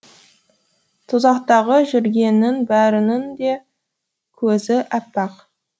тозақтағы жүргеннің бәрінің де көзі әппақ